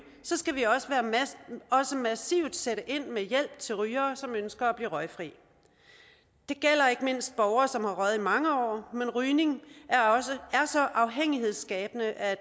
skal vi også massivt sætte ind med hjælp til rygere som ønsker at blive røgfri det gælder ikke mindst borgere som har røget i mange år men rygning er så afhængighedsskabende at